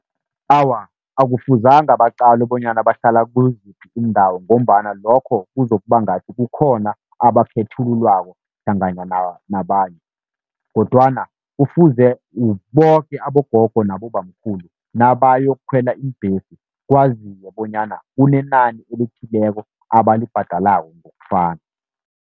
Awa, akufuzanga baqalwe bonyana bahlala kuziphi iindawo, ngombana lokho kuzokuba ngathi kukhona abakhethululwako hlangana nabanye. Kodwana kufuze boke abogogo nabobamkhulu nabayokukhwela iimbhesi, kwaziwe bonyana kunenani elithileko abalibhadalako ngokufana.